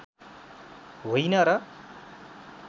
होइन र